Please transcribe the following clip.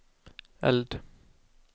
eld